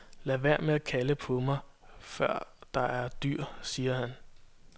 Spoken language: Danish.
Lad være med at kalde på mig, før der er dyr, siger han.